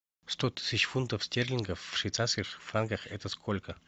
сто тысяч фунтов стерлингов в швейцарских франках это сколько